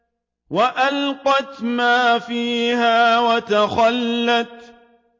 وَأَلْقَتْ مَا فِيهَا وَتَخَلَّتْ